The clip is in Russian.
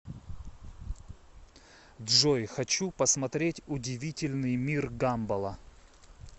джой хочу посмотреть удивительный мир гамбола